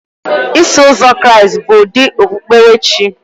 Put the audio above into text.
Iso Ụzọ Kraịst bụ ụdị okpukpere chi